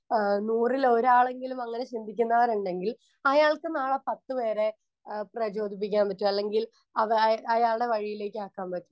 Speaker 1 ആഹ് നൂറിലൊരാളെങ്കിലുമങ്ങനെ ചിന്തിക്കുന്നവരുണ്ടെങ്കിൽ അയാൾക്ക് നാളെ പത്തു പേരെ ആഹ് പ്രചോദിപ്പിക്കാൻ പറ്റും അല്ലെങ്കിൽ അവ അയ അയാളുടെ വഴിയിലേക്ക് ആക്കാൻ പറ്റും.